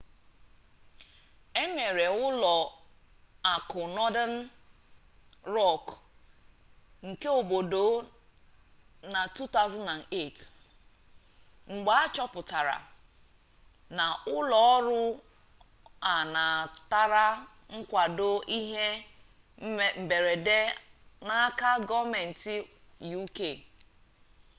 emere ụlọ akụ northern rock nke obodo na 2008 mgbe achọpụtara na ụlọ ọrụ a natara nkwado ihe mberede n'aka gọọmentị uk